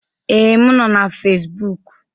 Ee, m nọ na Fezbụk.